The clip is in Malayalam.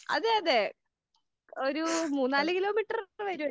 അതെ അതെ ഒരു മൂന്നാല് കിലോ മീറ്റർ വരൂലേ.